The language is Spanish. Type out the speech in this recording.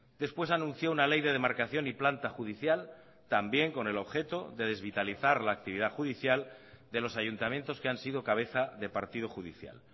después anunció una ley de demarcación y planta judicial también con el objeto de desvitalizar la actividad judicial de los ayuntamientos que han sido cabeza de partido judicial